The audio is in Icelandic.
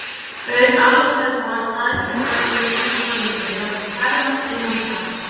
Auk alls þessa var stærsti dagur lífs míns framundan: ég átti að fermast innan skamms.